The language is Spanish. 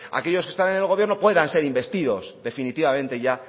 aquellos que están en el gobierno puedan ser investidos definitivamente ya